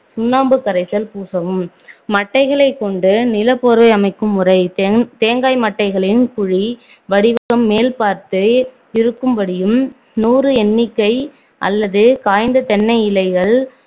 சுண்ணாம்பு கரைசல் பூசவும் மட்டைகளைக் கொண்டு நிலப்போர்வை அமைக்கும் முறை தென்~ தேங்காய் மட்டைகளின் குழி வடிவம் மேல்பார்த்து இருக்கும்படியும் நூறு எண்ணிக்கை அல்லது காய்ந்த தென்னை இலைகள்